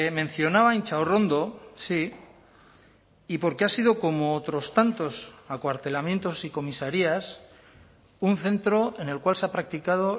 mencionaba intxaurrondo sí y porque ha sido como otros tantos acuartelamientos y comisarías un centro en el cual se ha practicado